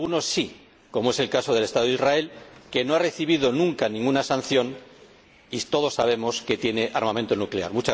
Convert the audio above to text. algunos, sí, como es el caso del Estado de Israel, que no ha recibido nunca ninguna sanción, y todos sabemos que tiene armamento nuclear.